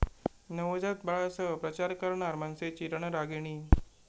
नवजात बाळासह प्रचार करणार मनसेची रणरागिणी